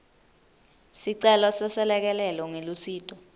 sicelo seselekelelo ngelusito